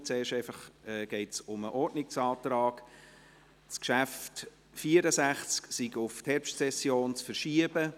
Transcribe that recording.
Zuerst geht es einfach um den Ordnungsantrag, das Traktandum 64 sei auf die Herbstsession zu verschieben.